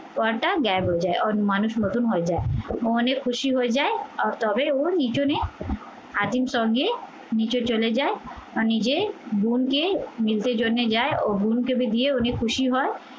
পর্দা gap হয়ে যায়, ওর মানুষ মতন হয়ে যায় মনে খুশি হয়ে যায় তবে ও আজিম সঙ্গে নিচে চলে যায় বা নিজের বোনকে মিলতে জন্যে যায় ও বোনকে দিয়ে উনি খুশি হয়